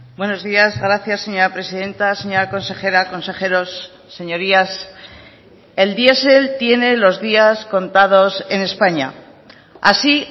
buenos días gracias señora presidenta señora consejera consejeros señorías el diesel tiene los días contados en españa así